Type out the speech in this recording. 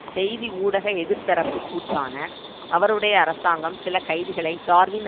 செய்தி ஊடக எதிர்த்தரப்பு கூற்றான அவருடைய அரசாங்கம் சில கைதிகளை டார்வின்